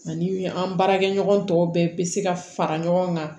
Ani an baarakɛɲɔgɔn tɔw bɛɛ bɛ se ka fara ɲɔgɔn kan